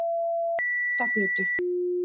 Oddagötu